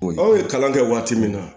Aw ye kalan kɛ waati min na